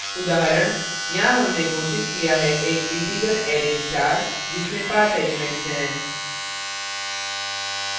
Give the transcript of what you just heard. उदाहरण यहाँ हमने घोषित किया है एक इन्टिजर array star जिसमें 5 elements हैं